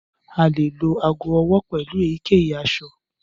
A lè lo ago ọwọ pelu èyíkèyí aṣọ.